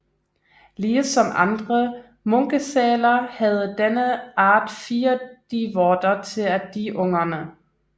Ligesom andre munkesæler havde denne art fire dievorter til at die ungen